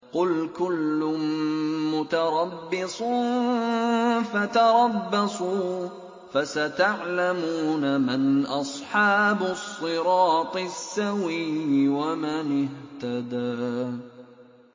قُلْ كُلٌّ مُّتَرَبِّصٌ فَتَرَبَّصُوا ۖ فَسَتَعْلَمُونَ مَنْ أَصْحَابُ الصِّرَاطِ السَّوِيِّ وَمَنِ اهْتَدَىٰ